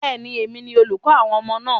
Bẹ́ẹ̀ni, èmi ni olùkọ́ àwọn ọmọ náà.